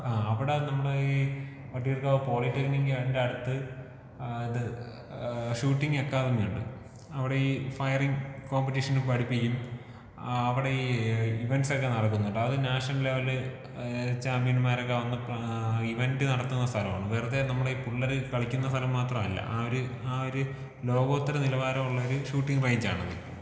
ആഹ് അവിടെ നമ്മുടെ ഈ വട്ടിയൂർക്കാവ് പോളി ടെക്നിക്കിന്റെ അടുത്ത് ഏഹ് ഇത് ഏഹ് ഷൂട്ടിംഗ് അക്കാദമി ഉണ്ട് അവിടെ ഈ ഫയറിങ് കോമ്പറ്റിഷൻ പഠിപ്പിക്കും. അവിടെ ഈ ഇവന്റസ് ഒക്കെ നടക്കുന്നുണ്ട്. അത് നാഷണൽ ലെവല് ചാമ്പ്യൻമാരൊക്കെ ആവുന്ന ഏഹ് ഇവന്റ് നടത്തുന്ന സ്ഥലമാണ്. വെറുതെ നമ്മുടെ ഈ പിള്ളേർ കളിക്കുന്ന സ്ഥലം മാത്രമല്ല. ആ ഒര് ആ ഒര് ലോകോത്തര നിലവാരമുള്ളൊരു ഷൂട്ടിംഗ് റെയ്ഞ്ചാണ്.